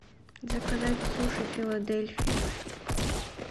заказать суши филадельфия